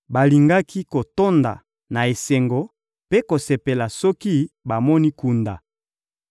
balingaki kotonda na esengo mpe kosepela soki bamoni kunda!